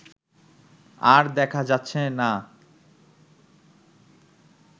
আর দেখা যাচ্ছে না